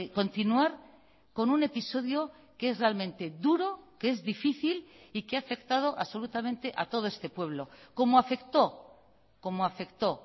continuar con un episodio que es realmente duro que es difícil y que ha afectado absolutamente a todo este pueblo como afectó como afectó